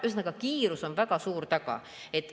Ühesõnaga, kiirus on väga suur taga.